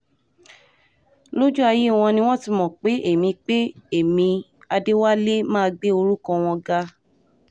lójú ayé wọn ni wọ́n ti mọ̀ pé ẹ̀mí pé ẹ̀mí adéwọlé máa gbé orúkọ wọn ga